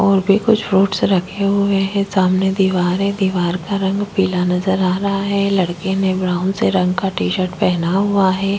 और भी कुछ फ्रूट रखे हुए हैं सामने दीवार है दीवार का रंग पीला नज़र आ रहा है लड़के ने ब्राउन रंग का टी शर्ट पहना हुआ है।